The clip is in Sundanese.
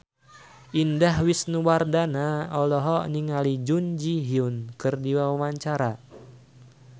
Indah Wisnuwardana olohok ningali Jun Ji Hyun keur diwawancara